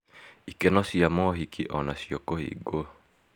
Ikeno cia maũhiki onacio kũhingwo